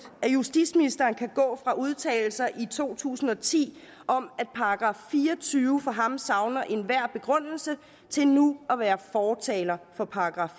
at justitsministeren kan gå fra udtalelser i to tusind og ti om at § fire og tyve for ham savner enhver begrundelse til nu at være fortaler for §